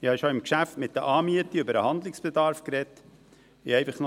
Ich habe schon zum Geschäft betreffend die Anmiete über den Handlungsbedarf gesprochen.